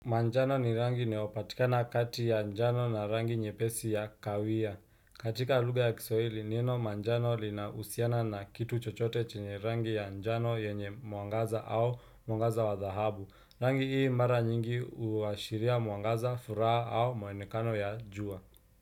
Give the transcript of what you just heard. Manjano ni rangi inayopatikana kati ya njano na rangi nyepesi ya kawia. Katika luga ya kiswahili, neno manjano linausiana na kitu chochote chenye rangi ya njano yenye muangaza au muangaza wa dhahabu. Rangi hii mara nyingi uwashiria muangaza, furaha au moenekano ya jua.